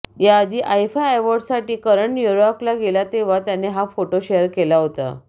याआधी आयफा अॅवार्डसाठी करण न्यूयॉर्कला गेला तेव्हा त्याने हा फोटो शेअर केला होता